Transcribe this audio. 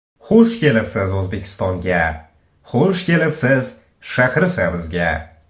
Xush kelibsiz O‘zbekistonga, xush kelibsiz Shahrisabzga!